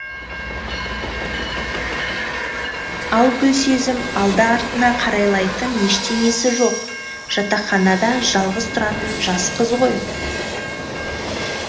ал гүлсезім алды артына қарайлайтын ештеңесі жоқ жатақханада жалғыз тұратын жас қыз ғой